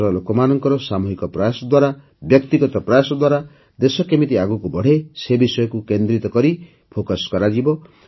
ଦେଶର ଲୋକମାନଙ୍କର ସାମୂହିକ ପ୍ରୟାସ ଦ୍ୱାରା ବ୍ୟକ୍ତିଗତ ପ୍ରୟାସ ଦ୍ୱାରା ଦେଶ କେମିତି ଆଗକୁ ବଢ଼େ ସେ ବିଷୟକୁ ହିଁ କେନ୍ଦ୍ରିତ ଫୋକସ୍ କରାଯିବ